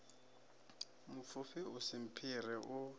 mupfufhi u si mphire u